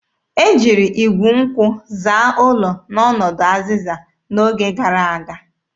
E jiri igwu nkwụ zaa ụlọ n'ọnọdụ azịza n'oge gara aga.